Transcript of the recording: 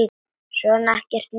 Svona, ekkert múður.